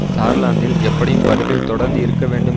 சார்லாந்தில் எப்படியும் பதவியில் தொடர்ந்து இருக்க வேண்டும்